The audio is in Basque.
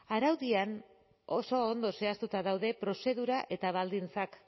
araudian oso ondo zehaztuta daude prozedura eta baldintzak